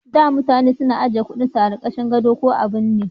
Da mutane na ajiye kudin su a karkashin gado ko a binne